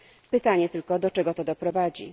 Pytanie tylko, do czego to doprowadzi?